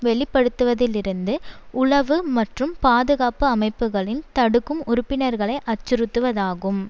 வெளிப்படுத்துவதிலிருந்து உளவு மற்றும் பாதுகாப்பு அமைப்புக்களின் தடுக்கும் உறுப்பினர்களை அச்சுறுத்துவதாகும்